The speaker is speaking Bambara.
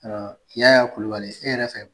I Yaya Kulibali e yɛrɛ fɛ